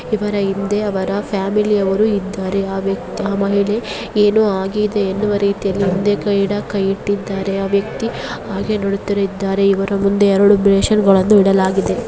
ಇವರ ಹಿಂದೆ ಅವರ ಫೆಮಿಲಿಯವರು ಇದ್ದಾರೆ ಆ ವ್ಯಕ್ತಿ ಆಮಹಿಳೆ ಏನೋ ಆಗಿದೆ ಎನ್ನುವ ರೀತಿಯೆಲ್ಲಿ ಹಿಂದೆಗದೆ ಕೈ ಇಟ್ಟಿದಾರೆ ಆ ವ್ಯಕ್ತಿ ಹಾಗೆ ನೋಡುತದ್ದಾರೆ ಇವರ ಮುಂದೆ ಎರಡು ಬೇಸಿನ್ ಗಳನ್ನೂ ಇಡಲಾಗಿದೆ.